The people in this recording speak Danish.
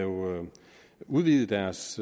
udvide deres